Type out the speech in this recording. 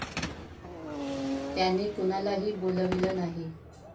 त्यांनी कुणालाही बोलाविलं नाही.